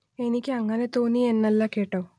എനിക്ക് അങ്ങനെ തോന്നി എന്നല്ല കേട്ടോ